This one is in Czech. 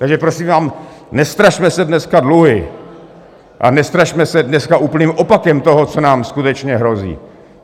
Takže prosím vás, nestrašme se dneska dluhy a nestrašme se dneska úplným opakem toho, co nám skutečně hrozí.